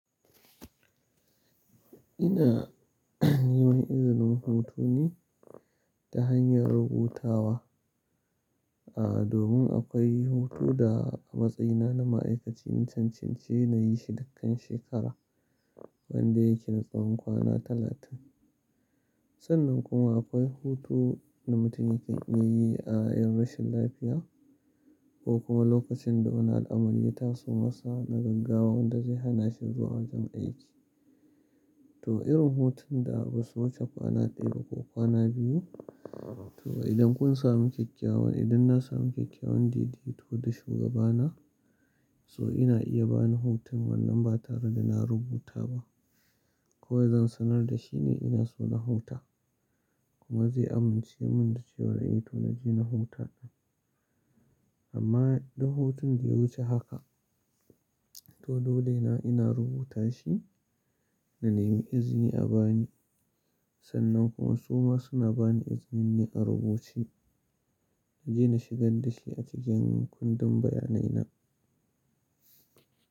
Ina neman izinin hutu ne ta hanyar rubutawa. Aaa, domin akwai hutu da a matsayina na ma'aikaci na cancanci na yi shi dukkan shekara wanda yake na tsawon kwana talatin. Sannan kuma akwai hutu na mutum yake iya yi a yanarshin lafiya ko kuma lokacin da wani al'amari ya taso masa na gaggawa wanda zai hana shi zuwa wajen aiki. To irin hutun da basu wuce kwana ɗaya ba ko kwana biyu. To idan kun sami kyakkyawan, idan na sami kyakkyawan didito da shugabana, so ina iya ba ni hutun wannan ba tare da na rubuta ba. Kawai zan sanar da shi ne ina so na huta kuma zai amince mun da cewa dai to na je na huta ɗan. Amma idan hutun da ya wuce haka, to dole ne ina rubuta shi na nemi izini a bani. Sannan kuma su ma suna bani izinin ne a rubuce na je na shigar da shi a cikin kundin bayanai na.